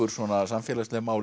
samfélagsleg mál